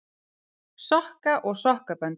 Sokka og sokkabönd.